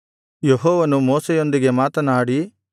ಯೆಹೋವನು ಮೋಶೆಯೊಂದಿಗೆ ಮಾತನಾಡಿ